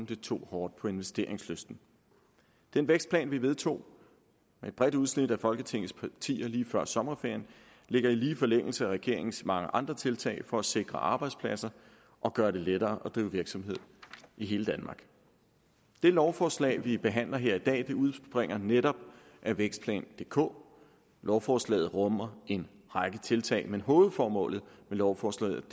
det tog hårdt på investeringslysten den vækstplan vi vedtog med et bredt udsnit af folketingets partier lige før sommerferien ligger i lige forlængelse af regeringens mange andre tiltag for at sikre arbejdspladser og gøre det lettere at drive virksomhed i hele danmark det lovforslag vi behandler her i dag udspringer netop af vækstplan dk lovforslaget rummer en række tiltag men hovedformålet med lovforslaget